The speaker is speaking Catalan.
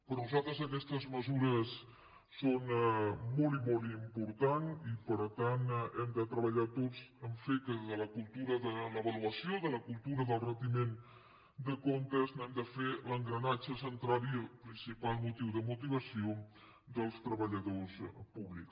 per nosaltres aquestes mesures són molt i molt importants i per tant hem de treballar tots a fer que de la cultura de l’avaluació de la cultura del retiment de comptes n’hem de fer l’engranatge central i el principal motiu de motivació dels treballadors públics